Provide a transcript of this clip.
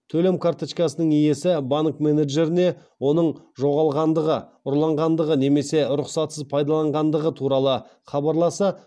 төлем карточкасының иесі банк менеджеріне оның жоғалғандығы ұрланғандығы немесе рұқсатсыз пайдаланғандығы туралы хабарласа